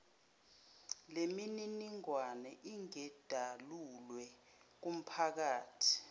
lemininingwane ingedalulwe kumphakathi